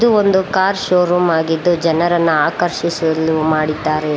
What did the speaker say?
ಇದು ಒಂದು car showroom ಆಗಿದ್ದು ಜನರನ್ನ ಆಕರ್ಷಿಸಲು ಮಾಡಿದ್ದಾರೆ.